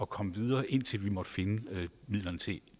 komme videre indtil vi måtte finde midlerne til